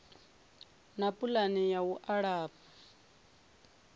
na pulani ya u alafha